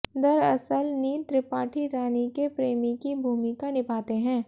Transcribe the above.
दरअसल नील त्रिपाठी रानी के प्रेमी की भूमिका निभाते हैं